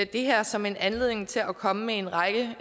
det her som en anledning til at komme med en række